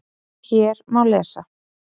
Hér má lesa